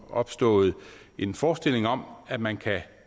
opstået en forestilling om at man